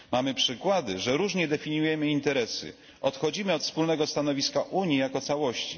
Mamy przykłady, że różnie definiujemy interesy, odchodzimy od wspólnego stanowiska Unii jako całości.